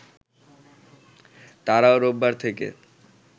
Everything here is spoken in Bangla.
তারাও রোববার থেকে